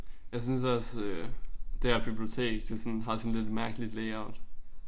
Jeg synes også det her bibliotek det sådan har sådan lidt et mærkeligt layout